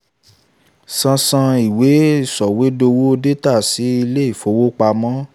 xxx) san san ìwé-sọ̀wédowó détà sí ilé-ìfowópamọ́